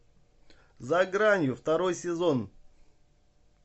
за гранью второй сезон